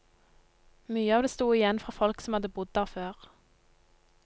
Mye av det sto igjen fra folk som hadde bodd der før.